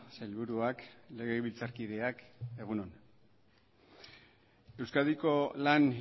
sailburuak legebiltzarkideak egun on euskadiko lan